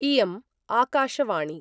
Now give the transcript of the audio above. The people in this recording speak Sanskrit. इयम् आकाशवाणी